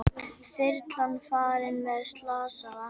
Þyrlan farin með slasaða